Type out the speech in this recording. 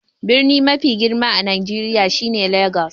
Birni mafi girma a Nijeriya shine Legas.